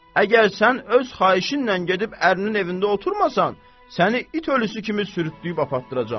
Əgər sən öz xahişinlə gedib ərinin evində oturmasan, səni it ölüsü kimi sürütdüyüb aparıdıracağam.